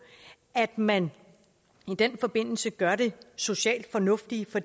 at man i den forbindelse gør det socialt fornuftige for